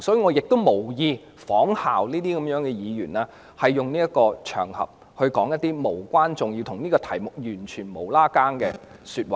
我無意仿效這些議員，在這個場合說出一些無關重要及與議題毫無關係的說話。